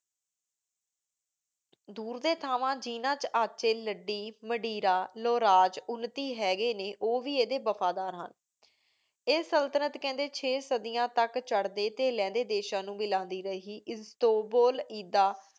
ਦੂਰ ਦੇ ਸਿਥਾਵਾਂ ਜਿਨਾ ਵਿਚ ਅਚੀ ਲੜੀ ਮਦਿਰਾ ਲੋਰਾਜ ਉਨਤੀ ਹੇਗ੍ਯ ਨੀ ਓਵੀ ਇਡੀ ਵਫ਼ਾਦਾਰ ਹਨ ਆਯ ਸੁਲ੍ਤ੍ਨਾੰਟ ਕੇੰਡੀ ਚੀ ਸਦਿਯਾਂ ਤਕ ਚਾਰਡੀ ਟੀ ਲੇੰਡੀ ਦੇਸ਼ਾਂ ਨੂ ਮਿਲਾਂਦੀ ਰਹੀ ਇਸ੍ਤਾੰਬੁਲ ਇੜਾ